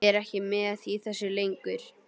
Er ekki með í þessu lengur.